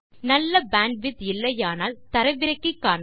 நல்ல பேண்ட்விட்த் இல்லையானால் தரவிறக்கி காண்க